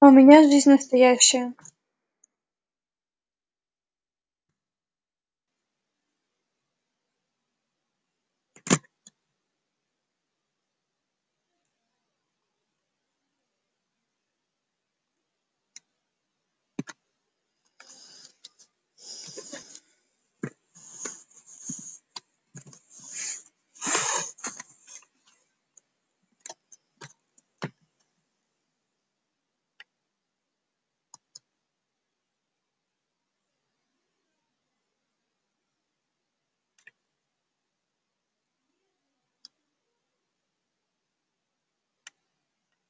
а у меня жизнь настоящая